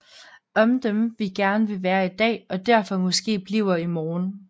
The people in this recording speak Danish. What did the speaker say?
Om dem vi gerne vil være i dag og derfor måske bliver i morgen